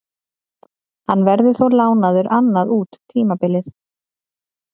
Hann verður þó lánaður annað út tímabilið.